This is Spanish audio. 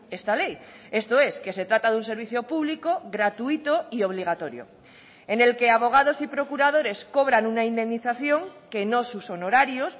esta ley esto es que se trata de un servicio público gratuito y obligatorio en el que abogados y procuradores cobran una indemnización que no sus honorarios